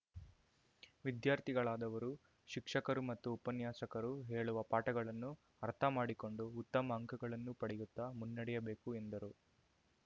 ವಿದ್ಯಾರ್ಥಿಗಳಾದವರು ಶಿಕ್ಷಕರು ಮತ್ತು ಉಪನ್ಯಾಸಕರು ಹೇಳುವ ಪಾಠಗಳನ್ನು ಅರ್ಥ ಮಾಡಿಕೊಂಡು ಉತ್ತಮ ಅಂಕಗಳನ್ನು ಪಡೆಯುತ್ತಾ ಮುನ್ನಡೆಯಬೇಕು ಎಂದರು